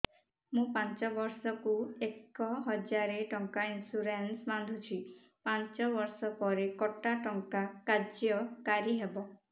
ମୁ ବର୍ଷ କୁ ଏକ ହଜାରେ ଟଙ୍କା ଇନ୍ସୁରେନ୍ସ ବାନ୍ଧୁଛି ପାଞ୍ଚ ବର୍ଷ ପରେ କଟା ଟଙ୍କା କାର୍ଯ୍ୟ କାରି ହେବ